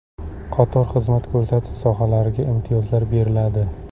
Qator xizmat ko‘rsatish sohalariga imtiyozlar beriladi.